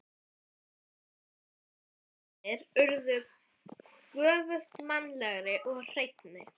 Andlitsdrættir mínir urðu göfugmannlegri og hreinni.